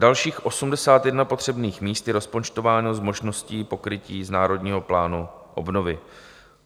Dalších 81 potřebných míst je rozpočtováno s možností pokrytí z Národního plánu obnovy.